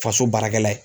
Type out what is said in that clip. Faso baarakɛla ye